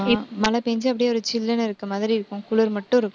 மழை பெய்ஞ்சு, அப்படியே ஒரு சில்லுன்னு இருக்கிற மாதிரி இருக்கும். குளிர் மட்டும் இருக்கும்.